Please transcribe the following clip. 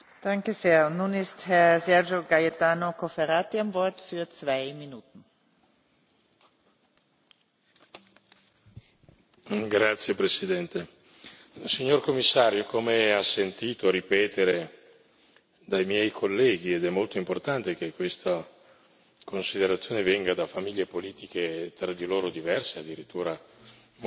Signora Presidente, onorevoli colleghi, signor Commissario, come ha sentito ripetere dai miei colleghi ed è molto importante che questa considerazione venga da famiglie politiche tra di loro diverse e addirittura molto distanti le nostre intenzioni sono intenzioni positive.